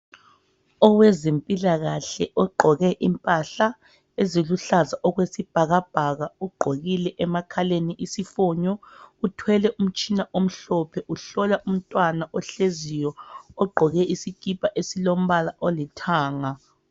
Owezempilakahle ogqoke impahla eziluhlaza okwesibhakabhaka, ugqokile emakhaleni isifonyo, uthwele umtshina omhlophe uhlola umntwana ohleziyo ogqoke isikipa esilombala olithanga.